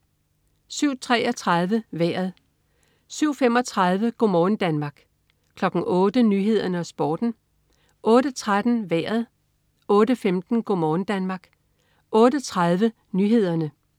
07.33 Vejret (man-fre) 07.35 Go' morgen Danmark (man-fre) 08.00 Nyhederne og Sporten (man-fre) 08.13 Vejret (man-fre) 08.15 Go' morgen Danmark (man-fre) 08.30 Nyhederne (man-fre)